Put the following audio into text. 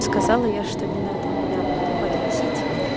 сказала я что не надо меня подвозить